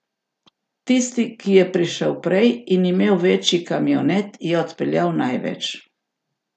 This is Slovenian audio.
Tisti, ki je prišel prej in imel večji kamionet, je odpeljal največ.